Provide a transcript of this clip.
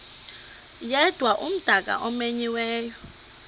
yedwa umdaka omenyiweyo